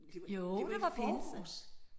Jo det var pinse